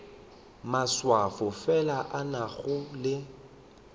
maswafo fela a nago le